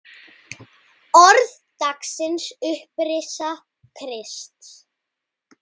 Orð dagsins Upprisa Krists